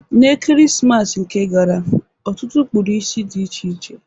N'Ekeresimesi nke gara ọtụtụ kpụrụ isi dị iche iche.